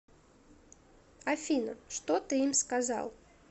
афина что ты им сказал